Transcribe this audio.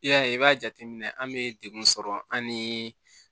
I y'a ye i b'a jateminɛ an bɛ dekun sɔrɔ an ni